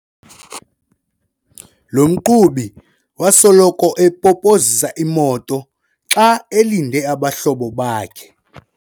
Lo mqhubi wasoloko epopozisa imoto xa elinde abahlobo bakhe.